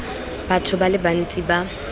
batho ba le bantsi ba